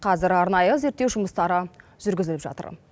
қазір арнайы зерттеу жұмыстары жүргізіліп жатыр